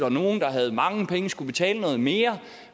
at nogle der havde mange penge skulle betale noget mere